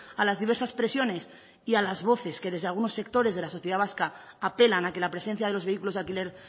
a las diversas presiones y a las voces que desde algunos sectores de la sociedad vasca apelan a que la presencia de los vehículos de alquiler